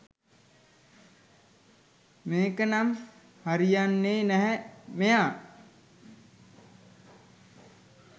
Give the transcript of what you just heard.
මේක නම් හරියන්නෙ නැහැ මෙයා